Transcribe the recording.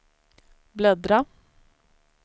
bläddra